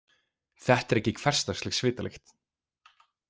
Þetta er ekki hversdagsleg svitalykt.